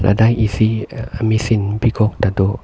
dak isi a machine bikok ta do.